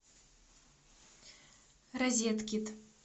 розеткед